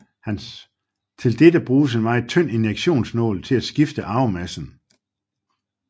Til dette bruges en meget tynd injektionsnål til at skifte arvemassen